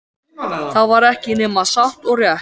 Það var ekki nema satt og rétt.